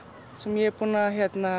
sem ég er búinn að